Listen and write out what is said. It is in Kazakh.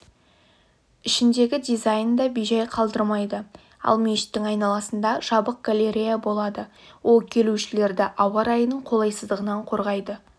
ішіндегі дизайнда бейжай қалдырмайды ал мешіттің айналасында жабық галерея болады ол келушілерді ауа-райының қолайсыздығынан қорғайды